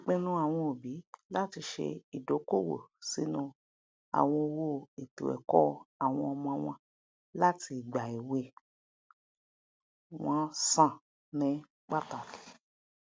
ìpinnu àwọn òbí láti ṣe ìdókoòwò sínú àwọn owó ètòẹkọ àwọn ọmọ wọn láti ìgbà èwe um wọn um san ní pàtàkì